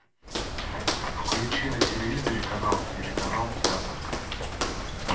включи на телевизоре канал телеканал театр